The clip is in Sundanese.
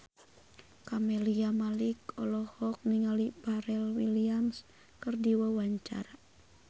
Camelia Malik olohok ningali Pharrell Williams keur diwawancara